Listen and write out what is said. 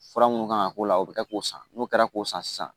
Fura minnu kan ka k'o la o bɛ kɛ k'o san n'o kɛra k'o san sisan